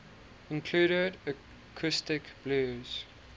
included acoustic blues